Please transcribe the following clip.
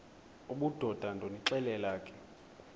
obudoda ndonixelela ke